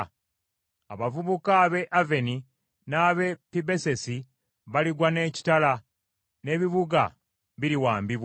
Abavubuka ab’e Oni n’ab’e Pibesesi baligwa n’ekitala, n’ebibuga biriwambibwa.